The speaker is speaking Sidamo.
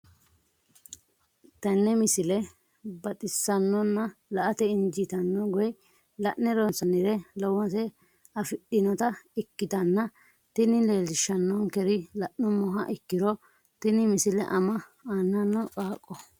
tenne misile baxisannonna la"ate injiitanno woy la'ne ronsannire lowote afidhinota ikkitanna tini leellishshannonkeri la'nummoha ikkiro tini misile ama annana qaaqqoho.